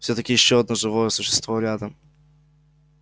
всё-таки ещё одно живое существо рядом